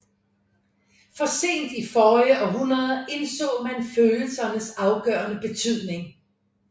Først sent i forrige århundrede indså man følelsernes afgørende betydning